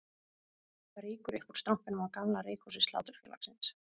Það rýkur upp úr strompinum á gamla reykhúsi Sláturfélagsins